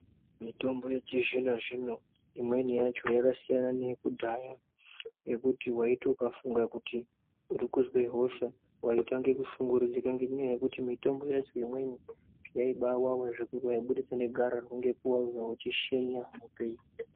Mitombo yechizvino-zvino imweni yacho yakasiyana neyekudhaya ngekuti waiti ukafunga kuti urikuzwe hosha waitange kushungurudzika ngenyaya yekuti mitombo yacho imweni yaibaa wawa zvekuti waibudisa negararwa ngekuwawiwa uchishenya hope.